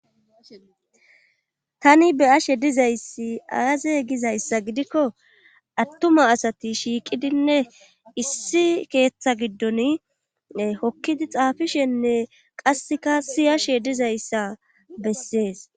Tani be'ayashe diza issi aaze giza issa gidikko attuma asati shiiqidinne issi keeththa giddon hokkidi xaafishenne qasseka siyashe diza issa bessees.